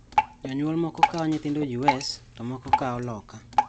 Jonyuol moko kawo nyithindo U.S, to moko kawo loka.